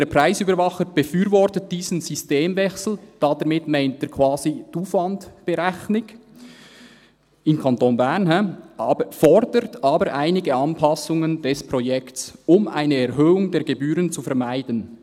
«Der Preisüberwacher befürwortet diesen Systemwechsel» – damit meint er quasi die Aufwandberechnung im Kanton Bern –, «fordert aber einige Anpassungen des Projekts, um eine Erhöhung der Gebühren zu vermeiden.